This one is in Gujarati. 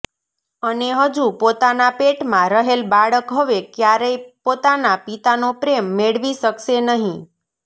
અને હજુ પોતાના પેટમાં રહેલ બાળક હવે ક્યારેય પોતાના પિતાનો પ્રેમ મેળવી શકશે નહી